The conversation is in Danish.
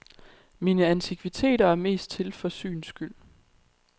Mine antikviteter er mest til for syns skyld.